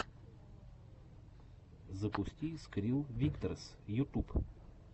запусти скрилл виктресс ютюб